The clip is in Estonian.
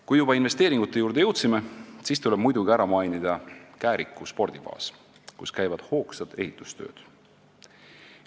Kui me juba investeeringute juurde jõudsime, siis tuleb muidugi ära mainida Kääriku spordibaas, kus käivad hoogsad ehitustööd.